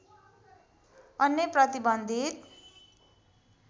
अन्य प्रतिबन्धित